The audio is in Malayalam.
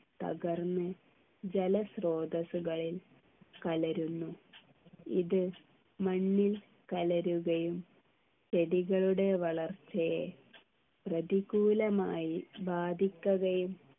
തകർന്ന് ജലസ്രോതസ്സുകളിൽ കലരുന്നു ഇത് മണ്ണിൽ കലരുകയും ചെടികളുടെ വളർച്ചയെ പ്രതികൂലമായി ബാധിക്കുകയും